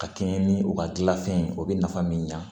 Ka kɛɲɛ ni u ka gilanfɛn ye o bɛ nafa min ɲa